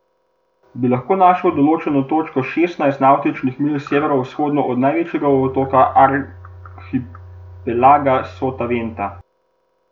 Bi lahko našel določeno točko šestnajst navtičnih milj severovzhodno od največjega otoka arhipelaga Sotaventa?